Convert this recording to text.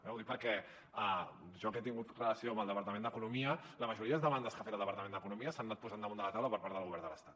ho dic perquè jo que he tingut relació amb el departament d’economia la majoria de demandes que ha fet el departament d’economia s’han anat posant damunt de la taula per part del govern de l’estat